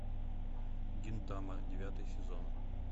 гинтама девятый сезон